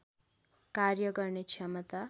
कार्य गर्ने क्षमता